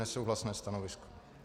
Nesouhlasné stanovisko.